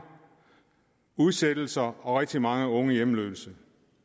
udsættelser og rigtig mange unge hjemløse